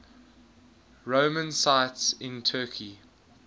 roman sites in turkey